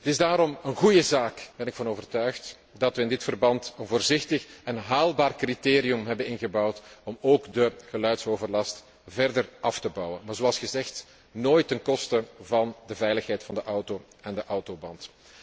Het is daarom een goede zaak, daarvan ben ik overtuigd, dat wij in dit verband een voorzichtig en haalbaar criterium hebben ingebouwd om ook de geluidsoverlast verder terug te dringen, maar zoals gezegd nooit ten koste van de veiligheid van de auto en de autoband.